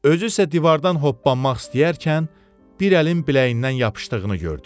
Özü isə divardan hoppanmaq istəyərkən bir əlin biləyindən yapışdığını gördü.